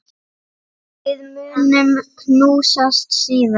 Við munum knúsast síðar.